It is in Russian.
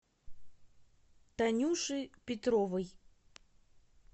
танюши петровой